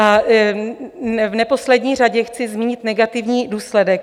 A v neposlední řadě chci zmínit negativní důsledek.